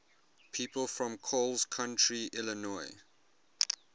people from coles county illinois